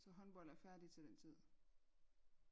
Så håndbold er færdig til den tid